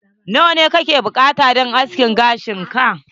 Nawa ne kake buƙata don askin gashin ka?